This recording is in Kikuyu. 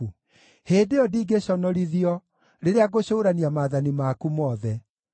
Hĩndĩ ĩyo ndingĩconorithio rĩrĩa ngũcũũrania maathani maku mothe.